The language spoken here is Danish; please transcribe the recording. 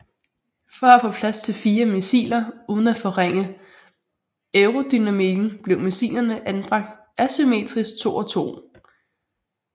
For at få plads til fire missiler uden at forringe aerodynamikken blev missilerne anbragt asymmetrisk to og to